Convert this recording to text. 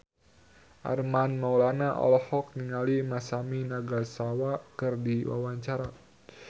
Armand Maulana olohok ningali Masami Nagasawa keur diwawancara